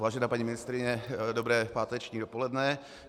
Vážená paní ministryně, dobré páteční dopoledne.